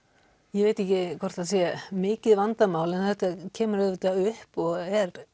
ég veit ekki hvort það sé mikið vandamál en þetta kemur upp og er